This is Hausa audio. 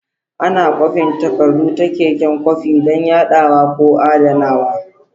Ana kwafin takardu ta keken kwafi don yadawa ko adanawa.